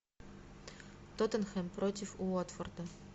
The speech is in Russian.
тоттенхэм против уотфорда